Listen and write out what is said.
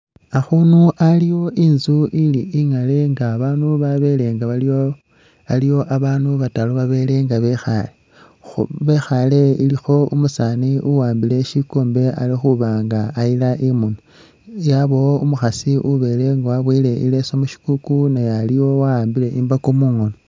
Akhunu aliwo inzu ili ingale nga abaandu babele nga baliwo, aliwo abandu bataru babele nga bekhale khu bekhale ilikho umusaani uwambile shikombe ali khuba nga ayila khu munwa ,yabawo umukhasi ubele waboyele i'leesu mu shikuuku naye aliwo wa'ambile imbako mukhoono.